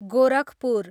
Gorakhpur